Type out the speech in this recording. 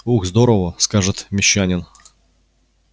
ух здорово скажет мещанин